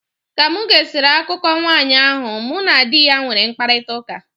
Ka mụ gesịrị akụkọ nwanyị ahụ, mụ na di ya nwere mkparịtaụka.